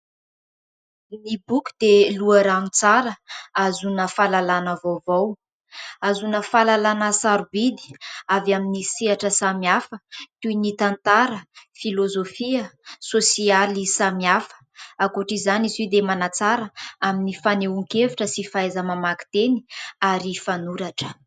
Ny boky dia loharano tsara, ahazoana fahalalàna vaovao, ahazona fahalalàna sarobidy, avy amin'ny sehatra samihafa : toy ny tantara, filozofia, sosialy samihafa... Ankoatr'izany izy io dia manatsara amin'ny fanehoan-kevitra, sy fahaiza-mamaky teny, ary fanoratra.